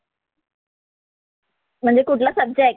म्हणजे कुठला सब्जेक्ट?